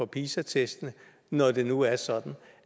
pisa testene når det nu er sådan